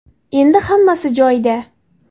Endi hammasi joyida.